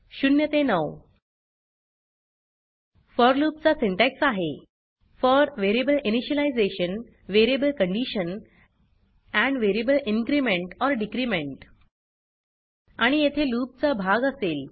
0 ते 9 for loop चा syntax आहे for variable initialisation variable condition and variable increment or decrement आणि येथे लूप चा भाग असेल